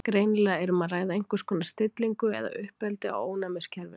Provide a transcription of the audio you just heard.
greinilega er um að ræða einhvers konar stillingu eða uppeldi á ónæmiskerfinu